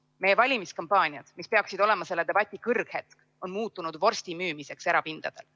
Meie valimiskampaaniad, mis peaksid olema selle debati kõrghetk, on muutunud vorstimüümiseks erapindadel.